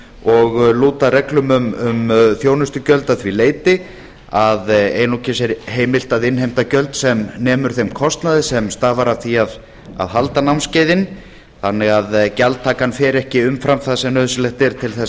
og lúta reglum um þjónustugjöld að því leyti að einungis er heimilt að innheimta gjöld sem nemur þeim kostnaði sem stafar af því að halda námskeiðin þannig að gjaldtakan fer ekki umfram það sem nauðsynlegt er til þess